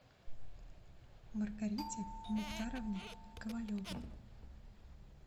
маргарите мухтаровне ковалевой